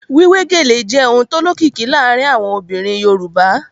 Wíwé gèlè jẹ́ ohun tó lókìkí láàárín àwọn obìnrin Yorùbá